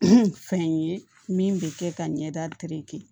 fɛn ye min bɛ kɛ ka ɲɛda